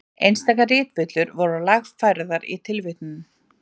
Einstaka ritvillur voru lagfærðar í tilvitnunum.